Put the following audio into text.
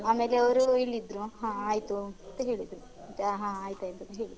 ಆಮೇಲೆ ಅವ್ರು ಇಳಿದ್ರು ಹಾ ಆಯ್ತು ಅಂತ ಹೇಳಿದ್ರು ಮತ್ತೆ ಹಾ ಹಾ ಆಯ್ತ್ ಆಯ್ತು ಅಂತ ಹೇಳಿದೆ.